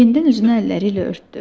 Yenidən üzünü əlləriylə örtdü.